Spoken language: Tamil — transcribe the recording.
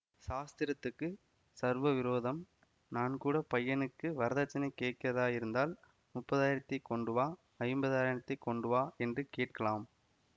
சாஸ்திரத்துக்கு சர்வ விரோதம் நான்கூடப் பையனுக்கு வரதட்சணை கேட்கிறதாயிருந்தால் முப்பதினாயிரத்தைக் கொண்டுவா ஐம்பதினாயிரத்தைக் கொண்டுவா என்று கேட்கலாம்